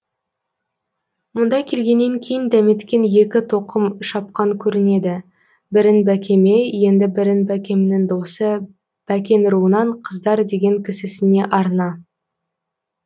мұнда келгеннен кейін дәметкен екі тоқым шапқан көрінеді бірін бәкеме енді бірін бәкемнің досы бәкен руынан қыздар деген кісісіне арна